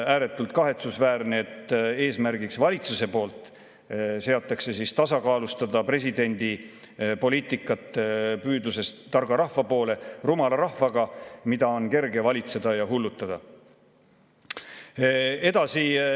Ääretult kahetsusväärne, et valitsus seab eesmärgiks tasakaalustada presidendi poliitikat, püüdlust targa rahva poole, rumala rahvaga, keda on kerge valitseda ja hullutada.